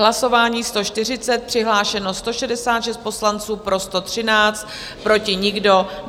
Hlasování 140, přihlášeno 166 poslanců, pro 113, proti nikdo.